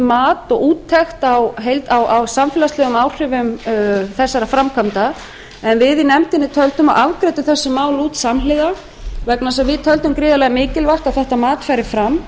mat á úttekt á samfélagslegum áhrifum þessara framkvæmda en við í nefndinni töldum og afgreiddum þessi mál út samhliða vegna þess að við töldum gríðarlega mikilvægt að þetta mat færi fram